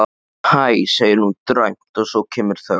Hæ, segir hún dræmt og svo kemur þögn.